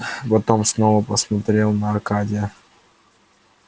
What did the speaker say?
потом снова посмотрел на аркадия